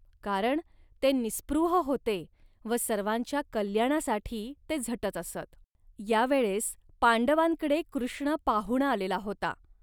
कारण ते निःस्पृह होते व सर्वांच्या कल्याणासाठी ते झटत असत. या वेळेस पांडवांकडे कृष्ण पाहुणा आलेला होता